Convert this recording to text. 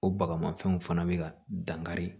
O baga mafɛnw fana be ka dankari